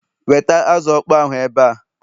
weta azụ okpo ahụ ebe a